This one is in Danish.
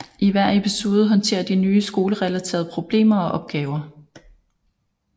I hver episode håndterer de nye skolerelaterede problemer og opgaver